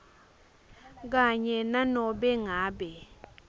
kanye nanobe ngabe